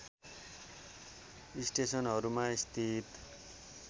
स्टेसनहरूमा स्थित